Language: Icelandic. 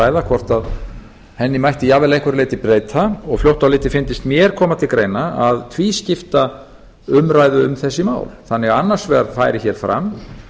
ræða hvort henni mætti jafnvel að einhverju leyti breyta fljótt á litið fyndist mér koma til greina að tvískipta umræðu um þessi mál þannig að annars vegar færi hér fram